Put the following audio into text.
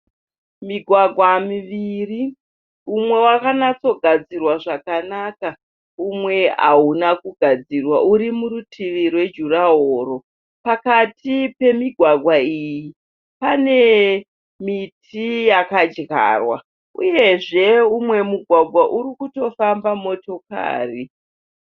Migwagwa miviri. Umwe wakanatsogadzirwa zvakanaka umwe hauna kugadzirwa uri murutivi rwejurahoro. Pakati pemigwagwa iyi pane miti yakadyarwa uyezve umwe mugwagwa uri kutofamba motokari.